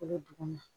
O bɛ duguma